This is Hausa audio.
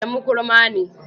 Adamu kurma ne.